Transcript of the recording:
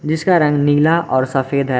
जिसका रंग नीला और सफेद है।